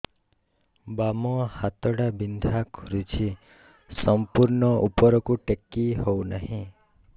ବାମ ହାତ ଟା ବିନ୍ଧା କରୁଛି ସମ୍ପୂର୍ଣ ଉପରକୁ ଟେକି ହୋଉନାହିଁ